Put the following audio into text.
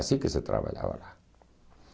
Assim que se trabalhava lá.